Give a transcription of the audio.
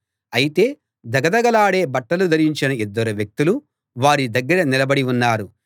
అయితే ధగధగలాడే బట్టలు ధరించిన ఇద్దరు వ్యక్తులు వారి దగ్గర నిలబడి ఉన్నారు